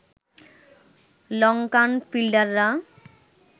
Lankan ফিল্ডাররা